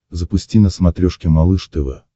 запусти на смотрешке малыш тв